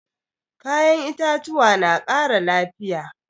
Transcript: Kayan itatuwa na ƙara lafiya.